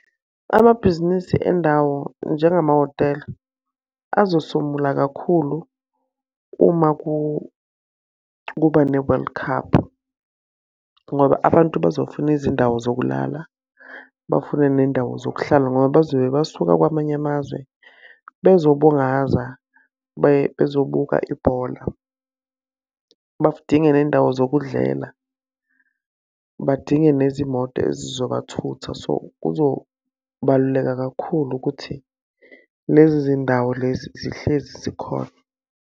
Amabhizinisi endawo njengamahhotela, azosomula kakhulu uma kuba ne-world cup. Ngoba abantu bazofuna izindawo zokulala, bafune ney'ndawo zokuhlala ngoba bazobe basuka kwamanye amazwe, bezobungaza bezobuka ibhola. Badinga nendawo zokudlela, badinge nezimoto ezizobathutha. So, kuzobaluleka kakhulu ukuthi lezi zindawo lezi zihlezi zikhona.